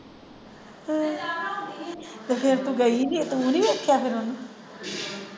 ਤੇ ਫਿਰ ਤੂੰ ਗਈ ਨਹੀਂ ਤੂੰ ਨਹੀਂ ਵੇਖਿਆ ਫਿਰ ਓਹਨੂੰ .